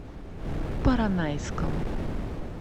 поронайском